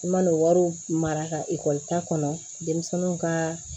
I man'o wariw mara ka ekɔli ta kɔnɔ denmisɛnninw ka